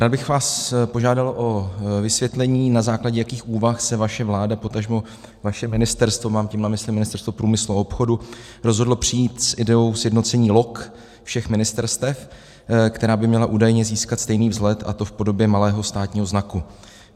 Rád bych vás požádal o vysvětlení, na základě jakých úvah se vaše vláda, potažmo vaše ministerstvo, mám tím na mysli Ministerstvo průmyslu a obchodu, rozhodlo přijít s ideou sjednocení log všech ministerstev, která by měla údajně získat stejný vzhled, a to v podobě malého státního znaku.